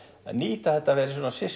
nýta þetta við